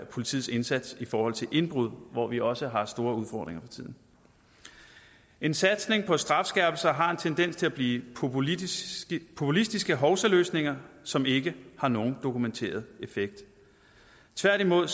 politiets indsats i forhold til indbrud hvor vi også har store udfordringer for tiden en satsning på strafskærpelse har en tendens til at blive populistiske populistiske hovsaløsninger som ikke har nogen dokumenteret effekt tværtimod